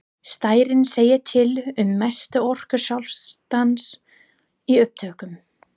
Stærðin segir til um mestu orku skjálftans í upptökum.